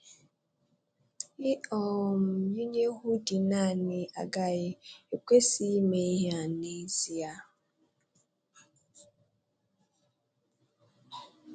Ị um yinye 'hoodie' naanị agaghị / ekwesịghị ime ihe a n'ezie.